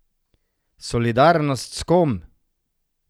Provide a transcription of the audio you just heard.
Solidarnost s kom?